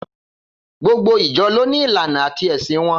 Gbogbo ìjọ lọni ìláná àtí ẹsín won